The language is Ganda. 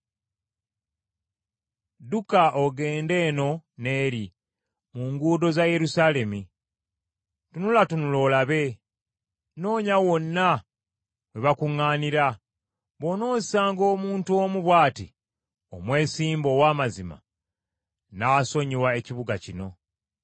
“Dduka ogende eno n’eri mu nguudo za Yerusaalemi, tunulatunula olabe, noonya wonna we bakuŋŋaanira, bw’onoosanga omuntu omu bw’ati omwesimbu ow’amazima, nnaasonyiwa ekibuga kino.